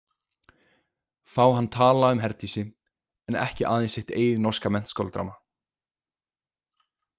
Fá hann tala um Herdísi en ekki aðeins sitt eigið norska menntaskóladrama.